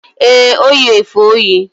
Ee, O yi efe oyi.